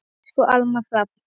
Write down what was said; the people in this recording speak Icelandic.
Elsku Almar Hrafn.